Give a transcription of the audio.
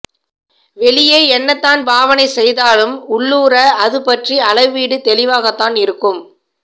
வெளியே என்னதான் பாவனை செய்தாலும் உள்ளூர அதுபற்றிய அளவீடு தெளிவாகத்தான் இருக்கும்